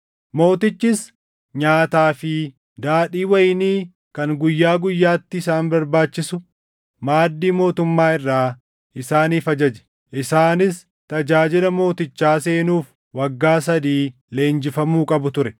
Mootichis nyaataa fi daadhii wayinii kan guyyaa guyyaatti isaan barbaachisu maaddii mootummaa irraa isaaniif ajaje. Isaanis tajaajila mootichaa seenuuf waggaa sadii leenjifamuu qabu ture.